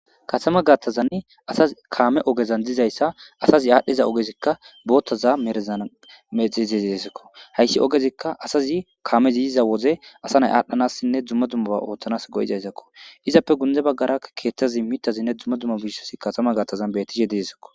Katama gaattazann asa kaame ogezan dizayssa asazi aadhdhiza ogezikka boottaza merezan mexizeisakko hayssi ogezikka asazi kaame ziyiza woze asa nay aadhdhanassinne dzumma dummaba ooththanas goyizayssakko izappe gunde baggaraa keethtazi mitazinne dzumma dumma biissosi katama gattazan bettishe diesakko.